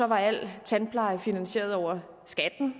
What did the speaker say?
var al tandpleje finansieret over skatten